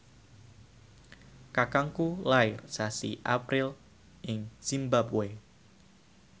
kakangku lair sasi April ing zimbabwe